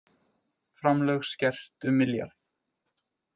Framlög skert um milljarð